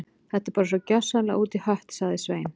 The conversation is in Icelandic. Þetta er bara svo gjörsamlega út í hött- sagði Svein